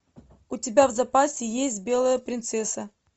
у тебя в запасе есть белая принцесса